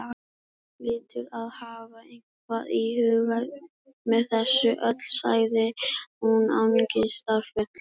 Guð hlýtur að hafa eitthvað í huga með þessu öllu- sagði hún angistarfull.